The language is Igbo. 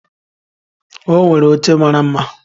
O nwere oche mara mma